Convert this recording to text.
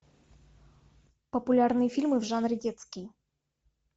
популярные фильмы в жанре детский